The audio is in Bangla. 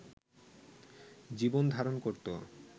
জীবনধারণ করত